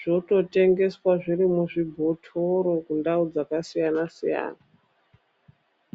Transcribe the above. zvototengeswa zviri muzvibhothoro, kundau dzakasiyana-siyana.